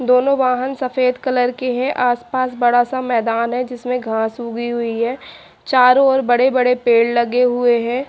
दोनों वाहन सफ़ेद कलर के है आसपास बड़ा सा मैदान है जिसमे घास उगी हुई है चारों ओर बड़े बड़े पेड़ लगे हुए है।